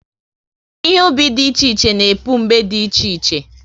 Ihe ubi dị iche iche na-epu mgbe dị iche iche